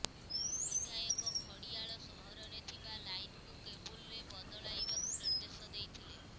ବିଧାୟକ ଖଡିଆଳ ସହରରେ ଥିବା ଲାଇନକୁ କେବୁଲରେ ବଦଲାଇବାକୁ ନିର୍ଦ୍ଦେଶ ଦେଇଥିଲେ